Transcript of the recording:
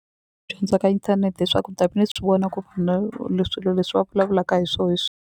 ka inthanete hi swa ku ni ta ve swi vona ku swilo leswi va vulavulaka hi swona hi .